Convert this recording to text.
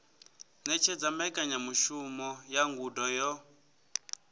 ṅetshedza mbekanyamushumo ya ngudo yo